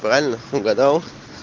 правильно угадал